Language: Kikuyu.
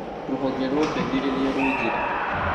Rũhonge rwa ũteithĩrĩria rwĩ njĩra